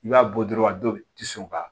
I b'a bɔ dɔrɔn a dɔw tɛ sɔn ka